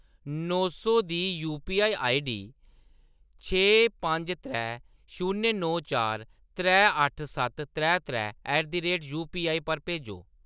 नौ सौ दी UPI ID छे पंज त्रै शून्य नौ चार त्रै अट्ठ सत्त त्रै त्रै ऐट द रेट यूपीआई पर भेजो।